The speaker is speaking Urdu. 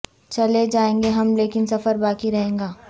چلے جائیں گے ہم لیکن سفر باقی رہے گا